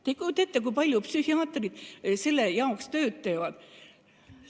Te ei kujuta ette, kui palju psühhiaatrid selleks tööd teevad.